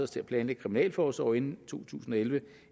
til at planlægge kriminalforsorgen to tusind og elleve